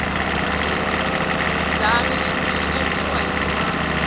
xirhidzani xi endziwa hi timanga